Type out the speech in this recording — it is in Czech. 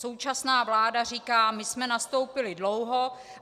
Současná vláda říká: My jsme nastoupili dlouho.